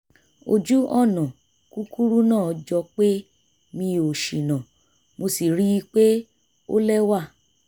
ojù-ọ̀nà kúkúrú náà jọ pé mi ò ṣìnà mo sì ríi pé ó lẹ́wà